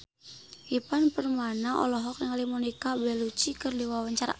Ivan Permana olohok ningali Monica Belluci keur diwawancara